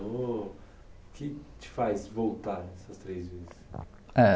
O que te faz voltar essas três vezes? Eh